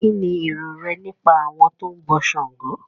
kín ni èrò rẹ nípa àwọn tó ń bọ ṣàngó?